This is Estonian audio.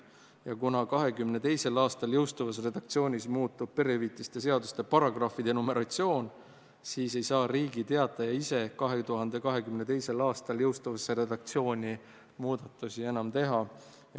Ja kuna 2022. aastal jõustuvas redaktsioonis muutub perehüvitiste seaduse paragrahvide numeratsioon, siis ei saa Riigi Teataja ise 2022. aastal jõustuvasse redaktsiooni muudatusi enam teha.